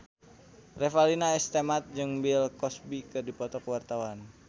Revalina S. Temat jeung Bill Cosby keur dipoto ku wartawan